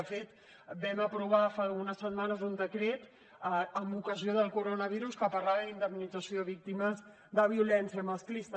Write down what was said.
de fet vam aprovar fa unes setmanes un decret amb ocasió del coronavirus que parlava d’indemnització a víctimes de violència masclista